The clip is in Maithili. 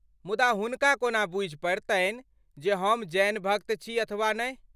मुदा हुनका कोना बूझि पड़तनि जे हम जैन भक्त छी अथवा नहि?